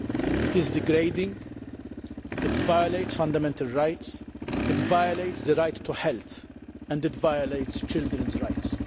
It is degrading, it violates fundamental rights, it violates the right to health and it violates children's rights.